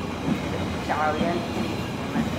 Waxay dadka ka caawiyaan inay is fahmaan.